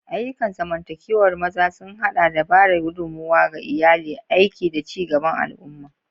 Ayyukan zamantakewar maza sun haɗa da ba da gudummawa ga iyali, aiki, da ci gaban al'umma.